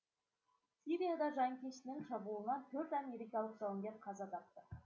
сирияда жанкештінің шабуылынан төрт америкалық жауынгер қаза тапты